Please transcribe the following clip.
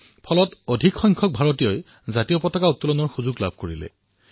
ইয়াৰ জৰিয়তে অধিক সংখ্যক ভাৰতীয়ই নিজৰ ৰাষ্ট্ৰধ্বজ উৰুৱাবলৈ সক্ষম হল